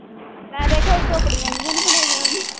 ਮੈਂ ਦੇਖਿਆ ਝੋਪੜੀਆਂ ਜਿਹੀਆਂ ਨੀ ਬਣਾਈਆਂ ਹੁੰਦੀਆਂ।